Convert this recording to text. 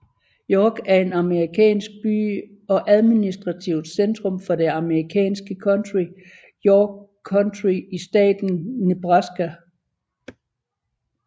York er en amerikansk by og administrativt centrum for det amerikanske county York County i staten Nebraska